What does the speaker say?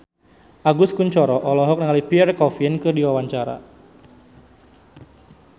Agus Kuncoro olohok ningali Pierre Coffin keur diwawancara